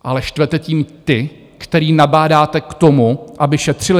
Ale štvete tím ty, které nabádáte k tomu, aby šetřili.